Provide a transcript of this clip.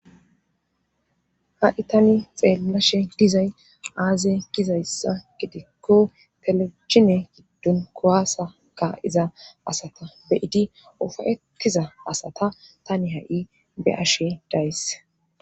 ha7i tani xeellashe dizay aaze gizayssa gidikko telebiine giddon kowaasaka iza asata beyidi ufayettiza asata tani ha7i be ashe dayss